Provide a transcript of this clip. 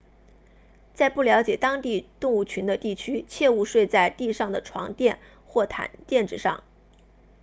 在不了解当地动物群的地区切勿睡在地上的床垫或垫子上